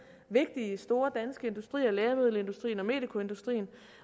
vigtige store danske industrier lægemiddelindustrien og medikoindustrien